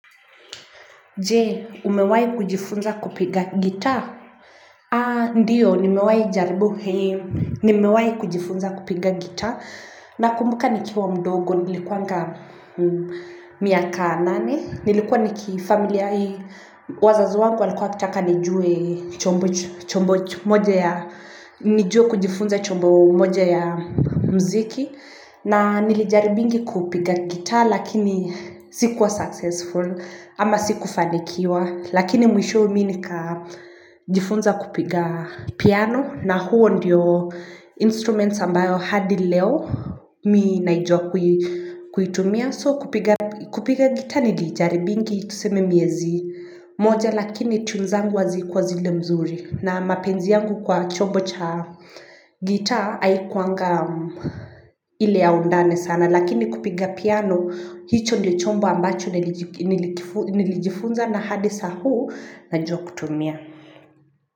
Je, umewai kujifunza kupiga gitaa? A, ndiyo, nimewahi jaribu hei, nimewahi kujifunza kupiga gitaa. Nakumbuka nikiwa mdogo, nilikuwanga miaka nane. Nilikuwa niki familia hii, wazazi wangu walikuwa kutaka nijue chombo moja ya, nijue kujifunza chombo moja ya mziki. Na nilijaribingi kupiga gitaa lakini sikuwa successful, ama sikufanikiwa, lakini mwisho mi nika jifunza kupiga piano, na huo ndiyo instruments ambayo hadi leo mi naijua kuitumia. So kupiga gitaa nilijaribingi tuseme miezi moja lakini tune zangu hazikua zile mzuri. Na mapenzi yangu kwa chombo cha gitaa haikuanga ile ya undane sana. Lakini kupiga piano, hicho ndio chombo ambacho nilijifunza na hadi saa huu najua kutumia.